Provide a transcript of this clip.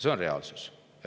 See on reaalsus.